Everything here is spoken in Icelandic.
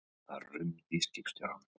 Það rumdi í skipstjóranum.